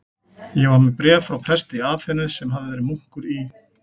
Ég var með bréf frá presti í Aþenu, sem verið hafði munkur í